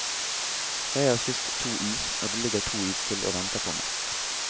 Jeg har spist to is, og det ligger to is til og venter på meg.